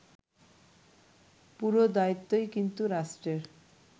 পুরো দায়িত্বই কিন্তু রাষ্ট্রের